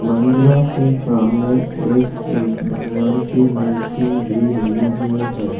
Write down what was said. मंदिरों के सामने एक-एक भगवान की मूर्ति भी बनी हुई है।